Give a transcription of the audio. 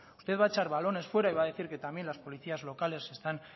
usted va a echar balones fuera y va a decir que también las policías locales están